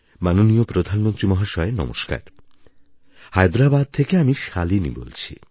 মাননীয় প্রধানমন্ত্রী মহাশয় নমস্কার হায়দ্রাবাদ থেকে আমি শালিনী বলছি